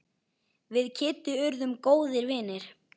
Við Kiddi urðum góðir vinir.